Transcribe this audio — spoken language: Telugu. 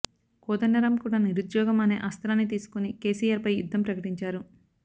కోదండరామ్ కూడా నిరుద్యోగం అనే అస్త్రాన్ని తీసుకుని కేసిఆర్ పై యుద్ధం ప్రకటించారు